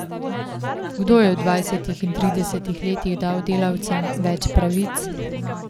Kdo je v dvajsetih in tridesetih letih dal delavcem več pravic?